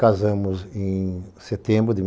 Casamos em setembro de mil...